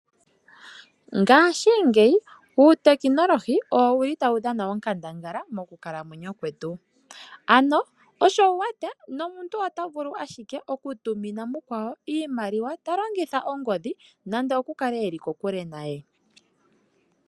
Ngaashingeyi uutekinolohi owo wu li tawu dhana onkandangala mokukalamwenyo kwetu. Ano osho wu wete nomuntu ota vulu ashike okutumina mukwawo iimaliwa ta longitha ongodhi nando okukale e li kokule naye.